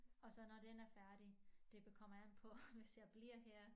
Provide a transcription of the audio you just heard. Og så når den er færdig det kommer an på hvis jeg bliver her